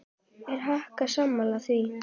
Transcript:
Er Haukur sammála því?